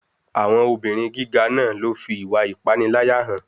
Àwọn obìrin gíga náà ló fi ìwà ìpániláyà hàn.